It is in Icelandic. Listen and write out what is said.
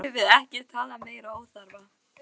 Nú skulum við ekki tala meiri óþarfa!